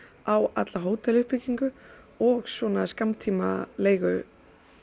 á alla og svona skammtímaleigu